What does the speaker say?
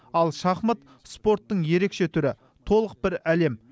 ал шахмат спорттың ерекше түрі толық бір әлем